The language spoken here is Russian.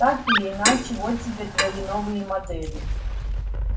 так или иначе вот тебе твои новые модели